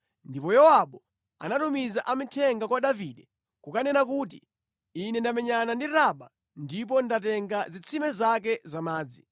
Ndipo Yowabu anatumiza amithenga kwa Davide kukanena kuti, “Ine ndamenyana ndi Raba ndipo ndatenga zitsime zake za madzi.